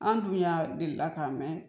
An dun y'a delila k'a mɛn